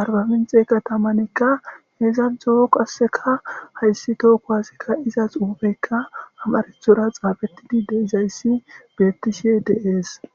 arbaminc'e katamanka izato qaseka haysi toho kuwase ka'za xufeyka amaratora xafetidi de'izaysi betishe dees.